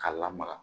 K'a lamaga